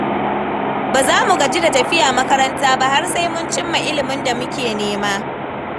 Ba za mu gaji da tafiya makaranta ba har sai mun cimma ilimin da muke nema.